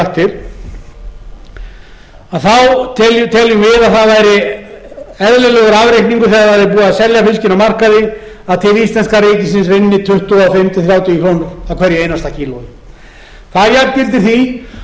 við að það væri eðlilegur afreikningur þegar væri búið að selja fiskinn á markaði að til íslenska ríkisins rynnu tuttugu og fimm til þrjátíu krónur af hverju einasta kílói það jafngildir því að